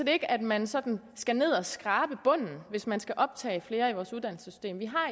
ikke at man sådan skal ned at skrabe bunden hvis man skal optage flere i vores uddannelsessystem vi har